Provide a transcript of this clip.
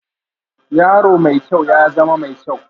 Yaro mai kyau, ya zama mai kyau